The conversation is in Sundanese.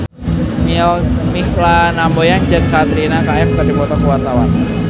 Mikha Tambayong jeung Katrina Kaif keur dipoto ku wartawan